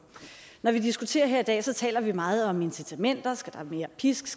når vi diskuterer her i dag taler vi meget om incitamenter skal der mere pisk